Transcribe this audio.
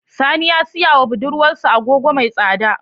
Sani ya siya wa budurwar sa Agogo mai tsada